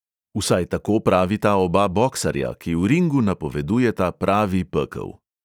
Vsaj tako pravita oba boksarja, ki v ringu napovedujeta pravi pekel.